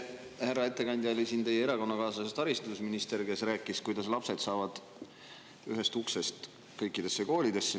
Härra ettekandja, eile oli siin teie erakonnakaaslasest haridusminister, kes rääkis, kuidas lapsed saavad ühest uksest kõikidesse koolidesse.